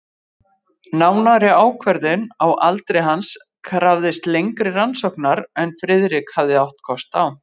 Nánari ákvörðun á aldri hans krafðist lengri rannsóknar en Friðrik hafði átt kost á.